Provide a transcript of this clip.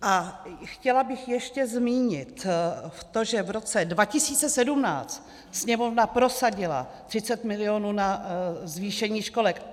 A chtěla bych ještě zmínit to, že v roce 2017 Sněmovna prosadila 30 milionů na zvýšení školek.